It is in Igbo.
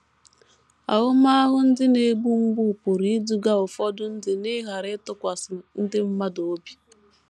Ahụmahụ ndị na - egbu mgbu pụrụ iduga ụfọdụ ndị n’ịghara ịtụkwasị ndị mmadụ obi.